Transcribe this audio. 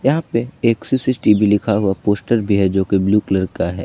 यहां पे एक सी_सी_टी_वी लिखा हुआ पोस्टर भी है जोकि ब्लू कलर का है।